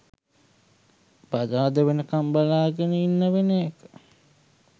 බදාදා වෙනකම් බලාගෙන ඉන්න වෙන එක